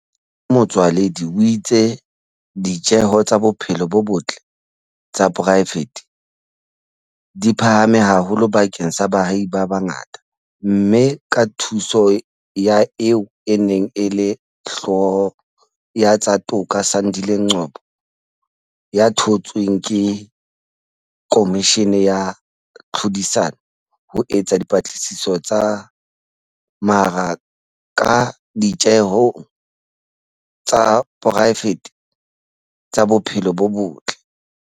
Hape Motsoaledi o itse di tjeho tsa bophelo bo botle tsa poraefete di phahame haholo bakeng sa baahi ba bangata, mme ka thuso ya eo e neng e le Hlooho ya tsa Toka Sandile Ngcobo ya thontsweng ke Khomishini ya Tlhodisano ho etsa dipatlisiso tsa mara ka ditjehong tsa poraefete tsa bophelo bo botle.